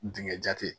Dingɛ jate